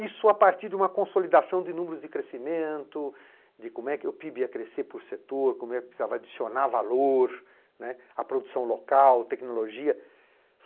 Isso a partir de uma consolidação de números de crescimento, de como é que o pê i bê ia crescer por setor, como é que precisava adicionar valor, né, à produção local, tecnologia.